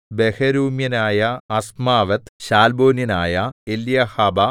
ബഹരൂമ്യനായ അസ്മാവെത്ത് ശാൽബോന്യനായ എല്യഹ്ബാ